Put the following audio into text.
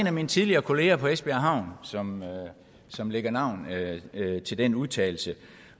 af mine tidligere kollegaer på esbjerg havn som som lægger navn til den udtalelse